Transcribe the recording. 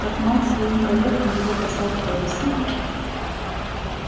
как мать своим коллегам его посадку объясняла